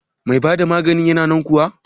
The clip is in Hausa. Mai bada maganin yana nan kuwa?